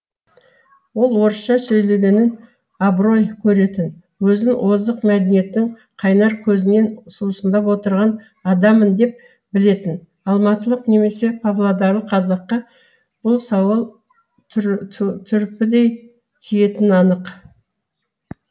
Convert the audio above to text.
ол орысша сөйлегенін абырой көретін өзін озық мәдениеттің қайнар көзінен сусындап отырған адаммын деп білетін алматылық немесе павлодарлық қазаққа бұл сауал түрпідей тиетіні анық